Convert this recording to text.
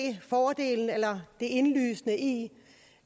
fordelen eller det indlysende i